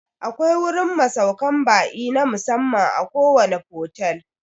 Akwai wurin masaukan ba'i na musamman a kowane fotel